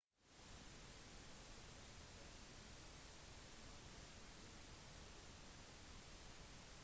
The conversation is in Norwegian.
da kontrolløren kom eksploderte leiligheten